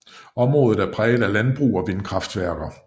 Området er præget af landbrug og vindkraftværker